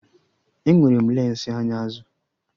Enwere m lensi anya azụ